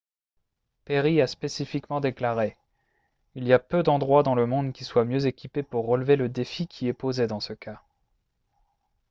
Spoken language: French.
perry a spécifiquement déclaré :« il y a peu d'endroits dans le monde qui soient mieux équipés pour relever le défi qui est posé dans ce cas »